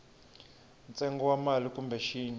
ntsengo wa mali kumbe xin